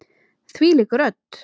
Þvílík rödd!